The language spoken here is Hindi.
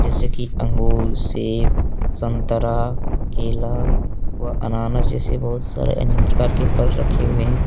जैसे कि अंगूर सेब संतरा केला व अनानास जैसे बहुत सारे अनेक प्रकार के फल रखे हुए हैं।